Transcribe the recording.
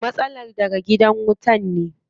Matsalar daga gidan wutan ne.